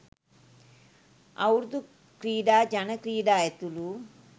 අවුරුදු ක්‍රීඩා ජන ක්‍රීඩා ඇතුළු